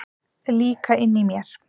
Líka inni í mér.